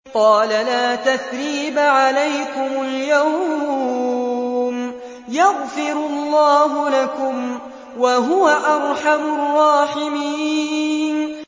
قَالَ لَا تَثْرِيبَ عَلَيْكُمُ الْيَوْمَ ۖ يَغْفِرُ اللَّهُ لَكُمْ ۖ وَهُوَ أَرْحَمُ الرَّاحِمِينَ